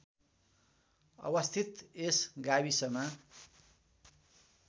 अवस्थित यस गाविसमा